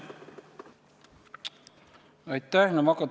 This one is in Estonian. Aitäh!